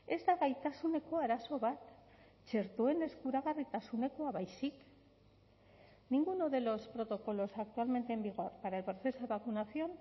ez da gaitasuneko arazo bat txertoen eskuragarritasunekoa baizik ninguno de los protocolos actualmente en vigor para el proceso de vacunación